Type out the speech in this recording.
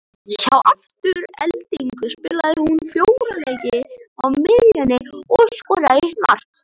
Hjá Aftureldingu spilaði hún fjóra leiki á miðjunni og skoraði eitt mark.